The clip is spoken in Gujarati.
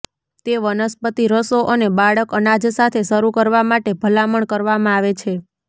તે વનસ્પતિ રસો અને બાળક અનાજ સાથે શરૂ કરવા માટે ભલામણ કરવામાં આવે છે